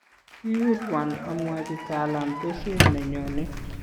kiyutwon amwochi Talam besiet ne nyone